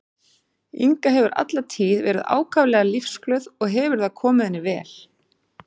Inga hefur alla tíð verið ákaflega lífsglöð og hefur það komið henni vel.